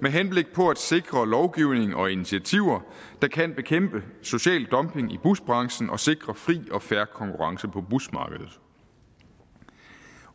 med henblik på at sikre lovgivning og initiativer der kan bekæmpe social dumping i busbranchen og sikre fri og fair konkurrence på busmarkedet